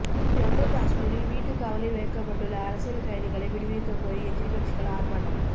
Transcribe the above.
ஜம்மு காஷ்மீரில் வீட்டுக் காவலில் வைக்கப்பட்டுள்ள அரசியல் கைதிகளை விடுவிக்கக்கோரி எதிர்க்கட்சிகள் ஆர்ப்பாட்டம்